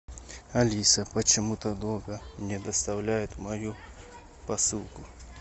алиса почему то долго не доставляют мою посылку